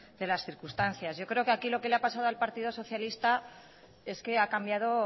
de las circunstancias yo creo que aquí lo que le ha pasado al partido socialista es que ha cambiado